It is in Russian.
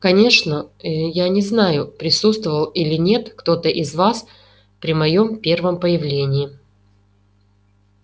конечно ээ я не знаю присутствовал или нет кто-то из вас при моеём первом появлении